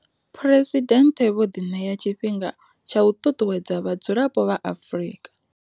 Phresidennde vho ḓiṋea tshifhinga tsha u ṱuṱuwedza vha dzulapo vha Afrika.